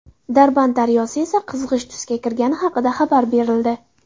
Darband daryosi esa qizg‘ish tusga kirgani haqida xabar berildi.